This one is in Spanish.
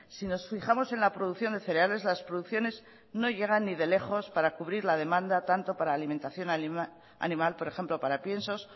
si nos fijamos en la producción de cereales las producciones no llegan ni de lejos para cubrir la demanda tanto para alimentación animal por ejemplo para piensos